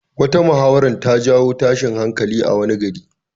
Wata muhawara ta jawo tashin hankali a wani gari.